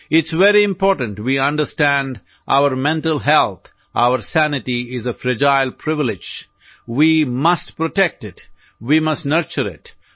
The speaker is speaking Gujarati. it's very important we understand our mental health our sanity is a fragile privilege we must protect it we must nurture it